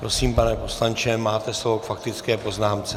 Prosím, pane poslanče, máte slovo k faktické poznámce.